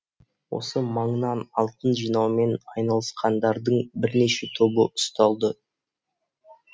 осы маңнан алтын жинаумен айналысқандардың бірнеше тобы ұсталды